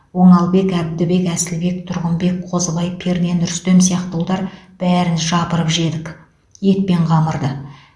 оңалбек әбдібек әсілбек тұрғынбек қозыбай пернен рүстем сияқты ұлдар бәрін жапырып жедік ет пен қамырды